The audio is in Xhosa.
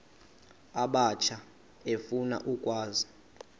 abatsha efuna ukwazi